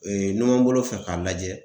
Ee nunanbolo fɛ k'a lajɛ